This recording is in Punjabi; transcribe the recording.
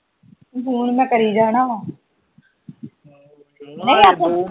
ਫੋਨ ਮੈ ਕਰਿ ਜਾਣਾ ਵਾ